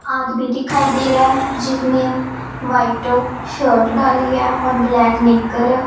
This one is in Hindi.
आदमी दिखाई दे रहा है जिसने व्हाइट शर्ट डाली है और ब्लैक नेकर--